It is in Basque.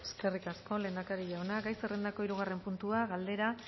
eskerrik asko lehendakari jauna gai zerrendako hirugarren puntua galdera